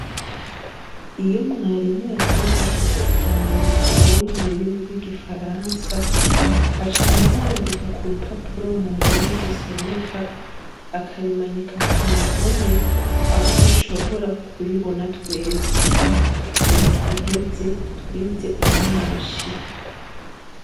Iyo mwarimu yatwigishije ijambo rigoye mururimi rwigifaransa, aca aryandika kurupapuro mundome zisomeka akarimanika kuruhome aho dushobora kuribona twese. Mundwi iheze twize umwashi.